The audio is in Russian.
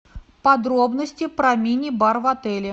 подробности про мини бар в отеле